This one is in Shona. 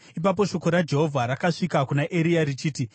Ipapo shoko raJehovha rakasvika kuna Eria richiti,